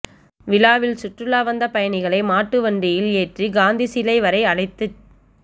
விழாவில் சுற்றுலா வந்த பயணிகளை மாட்டுவண்டியில் ஏற்றி காந்தி சிலை வரை அழைத்துச்